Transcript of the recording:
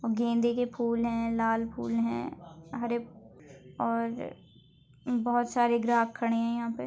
गेंदे के फूल है। लाल फुल है हरे और बहुत सारे ग्राहक खड़े यहा पे।